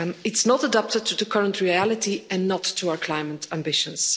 It's not adapted to the current reality, and not to our climate ambitions.